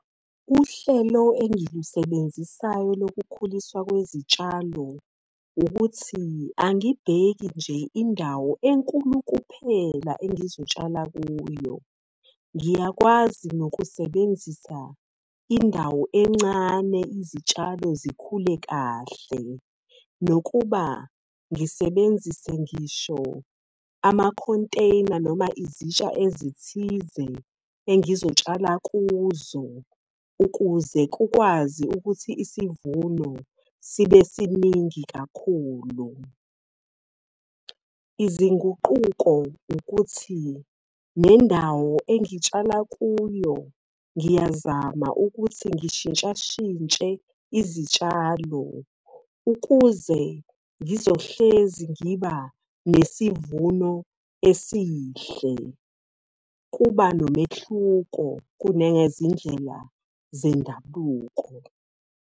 Uhlelo engilusebenzisayo lokukhuliswa kwezitshalo, ukuthi angibheki nje indawo enkulu kuphela engizotshala kuyo. Ngiyakwazi nokusebenzisa indawo encane izitshalo zikhule kahle. Nokuba ngisebenzise ngisho ama-container noma izitsha ezithize engizotshala kuzo. Ukuze kukwazi ukuthi isivuno sibe siningi kakhulu. Izinguquko ukuthi nendawo engitshala kuyo ngiyazama ukuthi ngishintsha shintshe izitshalo. Ukuze ngizohlezi ngiba nesivuno esihle. Kuba nomehluko kunezindlela zendabuko.